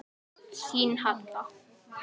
Ásökun nægir ekki.